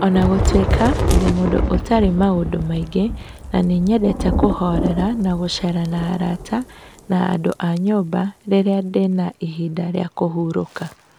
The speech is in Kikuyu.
O na gũtuĩka, ndĩ mũndũ ũtarĩ maũndũ maingĩ na nĩnyendete kũhorera na gũcera na arata na andũ a nyũmba itũ rĩrĩa ndĩna ihinda rĩa kũhurũka.